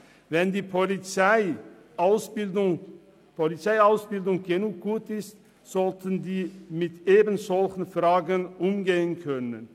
Wenn die Polizeiausbildung gut genug ist, sollten diese mit solchen Situationen umgehen können.